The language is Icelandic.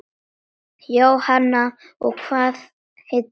Jóhanna: Og hvað heillar?